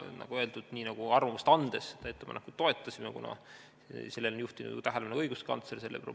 Nagu öeldud, arvamust andes ettepanekut toetasime, kuna sellele probleemile on juhtinud tähelepanu ka õiguskantsler.